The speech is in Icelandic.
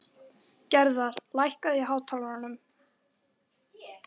Gerðar, lækkaðu í hátalaranum.